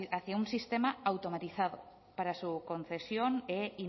hacia un sistema automatizado para su concesión e